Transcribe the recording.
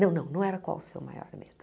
Não, não, não era qual o seu maior medo.